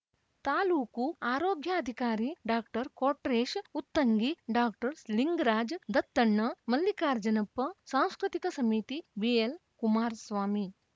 ತಾಲೂಕು ಆರೋಗ್ಯಾಧಿಕಾರಿ doctor Kotresh Uttangi doctor Lingaraj Dattanna Mallikarjunappa ಸಾಂಸ್ಕೃತಿಕ ಸಮಿತಿ ಬಿಎಲ್‌ ಕುಮಾರ್ ಸ್ವಾಮಿ